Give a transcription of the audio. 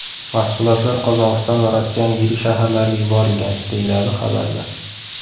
Mahsulotlar Qozog‘iston va Rossiyaning yirik shaharlariga yuborilgan”, deyiladi xabarda.